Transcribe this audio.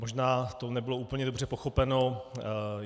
Možná to nebylo úplně dobře pochopeno.